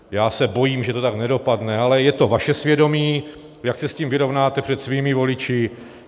Já se bojím, že to tak nedopadne, ale je to vaše svědomí, jak se s tím vyrovnáte před svými voliči.